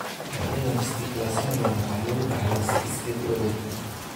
Noocyadan Stickler Syndrome waxaa lagu dhaxlaa si iskeed u awood badan.